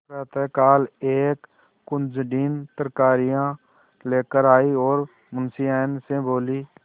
प्रातःकाल एक कुंजड़िन तरकारियॉँ लेकर आयी और मुंशियाइन से बोली